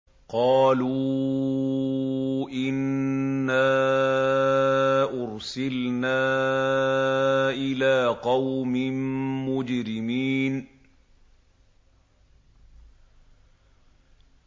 قَالُوا إِنَّا أُرْسِلْنَا إِلَىٰ قَوْمٍ مُّجْرِمِينَ